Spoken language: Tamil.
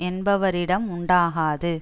என்பவரிடம் உண்டாகாது